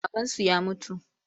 Babansu ya mutu.